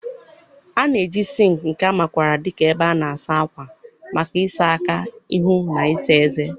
A na-eji sinki, nke a makwaara dị ka ebe a na-asa ákwà, maka ịsa aka, ihu, na ịsa ezé.